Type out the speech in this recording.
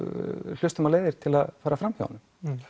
hlustum á leiðir til að fara framhjá honum